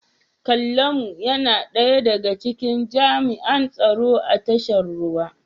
Kallamu yana daya daga cikin jami'an tsaro a tashar ruwan.